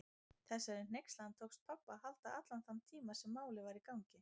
Þessari hneykslan tókst pabba að halda allan þann tíma sem Málið var í gangi.